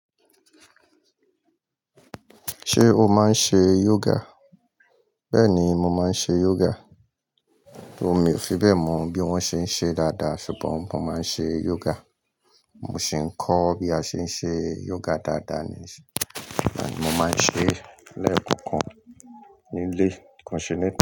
Ṣé o máa ń ṣe yoga? Bẹ́ẹ̀ni, mo máa ń ṣe yoga, though mi ò fi bẹ́ẹ̀ mọ bí wọ́n ṣe ń ṣe dáadáa ṣùgbọ́n mo máa ń ṣe yoga. Mo sì ń kọ́ bí a ṣe ń ṣe yoga dáadáa ni, mo máa ń ṣe lẹ́ẹ̀kan kan nílé, ko n ṣe.